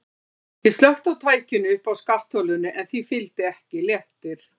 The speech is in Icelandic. Ég slökkti á tækinu uppi á skattholinu en því fylgdi ekki léttir.